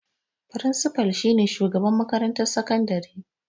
Firinsifal shi ne Shugaban makarantar sakandare.